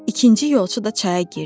İkinci yolçu da çaya girdi.